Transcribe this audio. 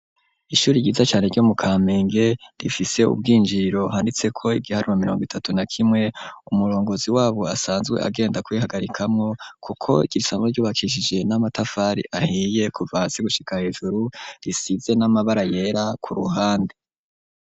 Ishuri ryiza care ryo mu ka menge rifise ubwinjiro handitseko igiharima mirongo itatu na kimwe umurongozi wabo asanzwe agenda kwihagarikamwo, kuko gisano ryubakishije n'amatafari ahiye kuvasi gushika hejuru risize n'amabara yera ku ruhande.